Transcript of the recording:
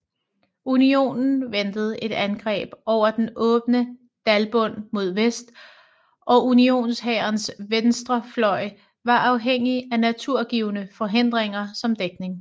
Unionen ventede et angreb over den åbne dalbund mod vest og unionshærens venstrefløj var afhængig af naturgivne forhindringer som dækning